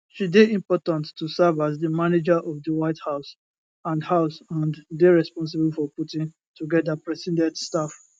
she dey important to serve as di manager of di white house and house and dey responsible for putting togeda president staff